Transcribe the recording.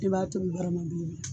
I b'a tobi barama duuru.